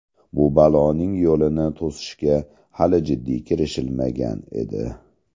Bu baloning yo‘lini to‘sishga hali jiddiy kirishilmagan edi.